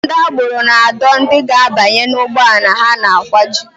Ndị agbero na-adọ ndị ga-abanye n'ụgbọala ha na-akwaju